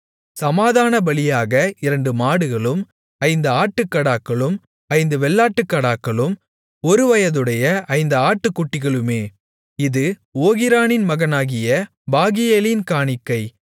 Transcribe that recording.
சமாதானபலியாக இரண்டு மாடுகளும் ஐந்து ஆட்டுக்கடாக்களும் ஐந்து வெள்ளாட்டுக்கடாக்களும் ஒருவயதுடைய ஐந்து ஆட்டுக்குட்டிகளுமே இது ஓகிரானின் மகனாகிய பாகியேலின் காணிக்கை